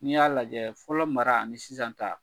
N'i y'a lajɛ fɔlɔ mara ani sisan ta